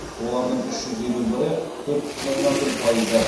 олардың үш жүз елу бірі төрт бүтін оннан бір пайызы